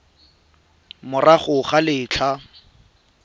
morago ga letlha le le